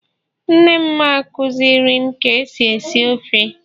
nnem akuzirim ka esi esi ofe